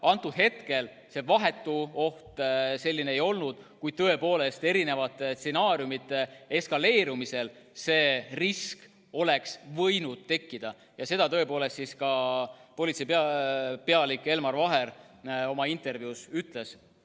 Konkreetsel hetkel see vahetu oht selline ei olnud, kuid tõepoolest mõne stsenaariumi eskaleerumisel see risk oleks võinud tekkida ja seda tõepoolest ka politseipealik Elmar Vaher oma intervjuus ütles.